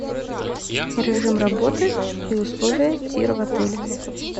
режим работы и условия тира в отеле